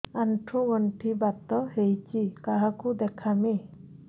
ଆଣ୍ଠୁ ଗଣ୍ଠି ବାତ ହେଇଚି କାହାକୁ ଦେଖାମି